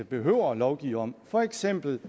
behøver at lovgive om for eksempel